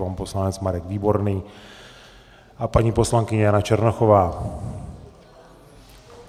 Pan poslanec Marek Výborný a paní poslankyně Jana Černochová.